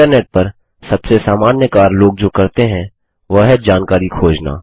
internet पर सबसे सामान्य कार्य लोग जो करते हैं वह है जानकारी खोजना